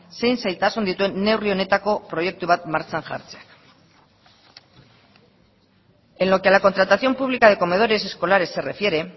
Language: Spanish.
zein zailtasun dituen neurri honetako proiektu bat martxan jartzeak en lo que a la contratación pública de comedores escolares se refiere